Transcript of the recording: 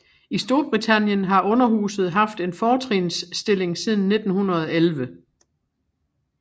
I Storbritannien har underhuset haft en fortrinsstilling siden 1911